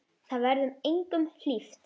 Það verður engum hlíft!